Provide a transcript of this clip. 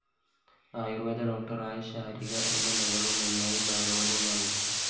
ആയൂര്‍വേദ ഡോക്ടറായ ശാരിക എന്ന മകളും നന്നായി ഭാഗവതം വായിക്കും